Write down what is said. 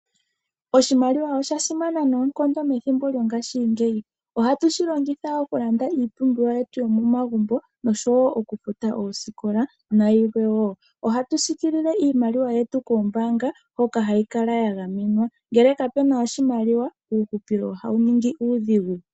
Oshimaliwa osha simana noonkondo methimbo lyongashingeyi. Ohatu shilongitha okulanda iipumbiwa yetu yomomagumbo nosho wo okufuta oosikola nayilwe wo. Ohatu sikiilile iimaliwa yetu koombaanga hoka hayi kala yagamenwa. Ngele kapena oshimaliwa uuhupilo ohawu ningi uudhigu.